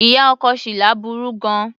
Ìyá ọkọ Shila burú gan-an.